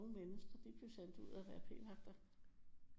Mennesker de blev sendt ud og være p-vagter